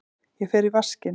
Ég fer í vaskinn.